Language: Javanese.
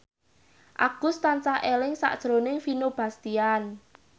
Agus tansah eling sakjroning Vino Bastian